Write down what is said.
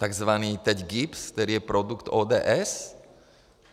Takzvaným teď GIBS, který je produktem ODS?